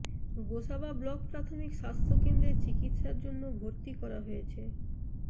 Gosaba block প্রাথমিক স্বাস্থ্য কেন্দ্রে চিকিৎসার জন্য ভর্তি করা হয়েছে